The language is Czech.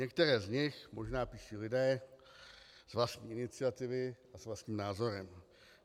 Některé z nich možná píší lidé z vlastní iniciativy a s vlastním názorem.